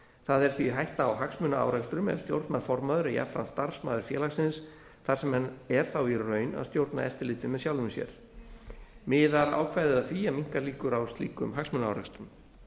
það er því hætta á hagsmunaárekstrum ef stjórnarformaður er jafnframt starfsmaður félagsins þar sem hann er þá í raun að stjórna eftirliti með sjálfum sér miðar ákvæðið að því að minnka líkur á slíkum hagsmunaárekstrum